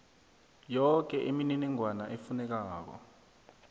yoke imininingwana efunekako